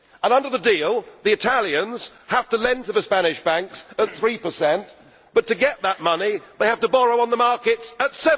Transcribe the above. Under the deal the Italians have to lend to the Spanish banks at 3 but to get that money they have to borrow on the markets at